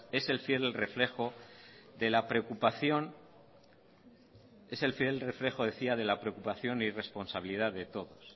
es el fiel reflejo decía de la preocupación y responsabilidad de todos